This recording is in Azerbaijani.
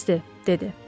Bəsdir, dedi.